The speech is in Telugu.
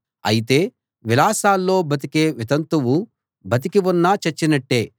అయితే విలాసాల్లో బతికే వితంతువు బతికి ఉన్నా చచ్చినట్టే